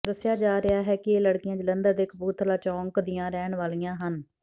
ਦੱਸਿਆ ਜਾ ਰਿਹਾ ਹੈ ਕਿ ਇਹ ਲੜਕੀਆਂ ਜਲੰਧਰ ਦੇ ਕਪੂਰਥਲਾ ਚੌਕ ਦੀਆਂ ਰਹਿਣ ਵਾਲੀਆਂ ਹਨ